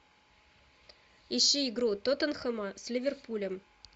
ищи игру тоттенхэма с ливерпулем